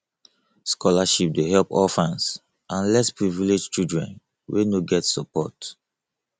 scholarship dey help orphans and less privileged children wey no get support